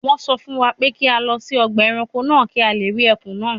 Wọ́n sọ fún wa pé kí a lọ sí ọgbà ẹranko náà kí a lè rí ẹkùn náà